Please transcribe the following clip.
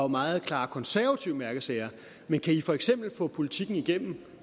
meget klare konservative mærkesager men kan i for eksempel få politikken igennem